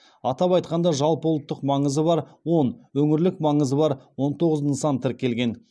атап айтқанда жалпыұлттық маңызы бар он өңірлік маңызы бар он тоғыз нысан тіркелген